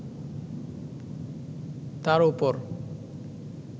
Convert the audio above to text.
তার ওপর